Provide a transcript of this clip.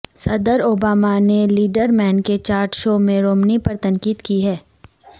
صدر اوباما نے لیٹرمین کے چاٹ شو میں رومنی پر تنقید کی ہے